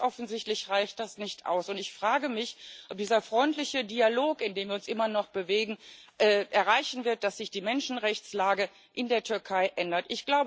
Aber ganz offensichtlich reicht das nicht aus, und ich frage mich, ob dieser freundliche Dialog, in dem wir uns immer noch bewegen, erreichen wird, dass sich die Menschenrechtslage in der Türkei ändert.